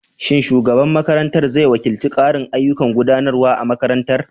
Shin shugaban makarantar zai wakilta ƙarin ayyukan gudanarwa a makarantar?